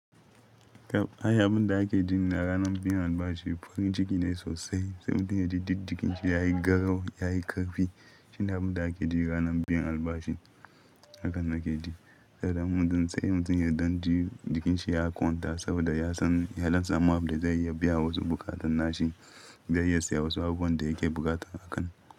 Abun da ake ji ranar bikin albashi farin ciki ne sosai. Saboda ya ji duk jikin shi yayi garau yayi ƙarfi. Shi ne abin da ake ji ranar biyan albashi. Haka na ke ji. Saboda mutum, sai mutum ya don jikin shi ya kwanta saboda ya san halin tsamawar da zai iya biya wa su buƙatun nashi, zai iya siya wasu abubuwan da yake buƙata a kan.